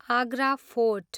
Agra fort